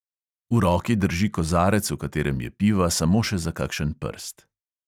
V roki drži kozarec, v katerem je piva samo še za kakšen prst.